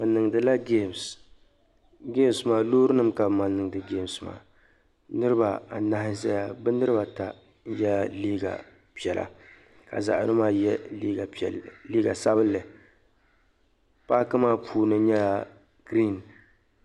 Bi niŋdila gemsi, gemsi maa mi lɔɔrinim ka bi mali. niŋdi gems maa , niribi anahi ʒaya bɛ niribi ata yela liiga piɛla ka zaɣi yinɔ maa ye liiga sabinli paaki maa puuni nyɛla green.